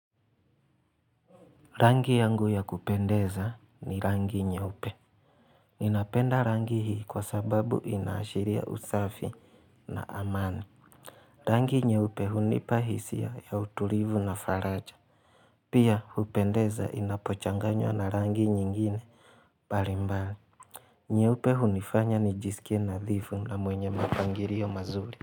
Rangi yangu ya kupendeza ni rangi nyeupe Ninapenda rangi hii kwa sababu inaashiria usafi na amani Rangi nyeupe hunipa hisia ya utulivu na faraja Pia hupendeza inapochanganywa na rangi nyingine mbalimbali nyeupe hunifanya nijisikie nadhifu na mwenye mapangilio mazuri.